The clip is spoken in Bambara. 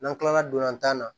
N'an kilala dolan tan na